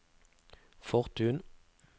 Fortun